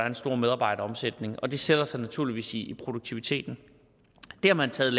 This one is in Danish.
en stor medarbejderomsætning og det sætter sig naturligvis i produktiviteten det har man taget